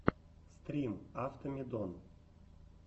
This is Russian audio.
стрим автомедон